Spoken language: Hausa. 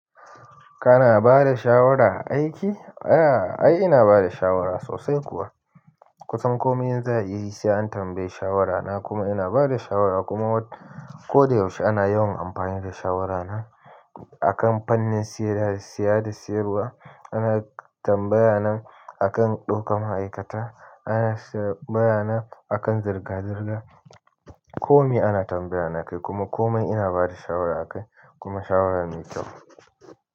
Kana bada shawara a aiki? A'a ai ina bada shawara sosai kuwa. Kutsan komai in za'a yi sai an tambayi shawara na. Kuma ina bada shawara kuma ko da yaushe ana yawan amfani da shawara na. A kan fannin siya, siya da siyarwa ana tambaya na, akan ɗaukan ma'aikata ana tambayana akan zirga-zirga komai ana tambaya na akai. Kuma komai ina bada shawara akai kuma shawara na mai kyau.